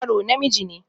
Yaro namiji ne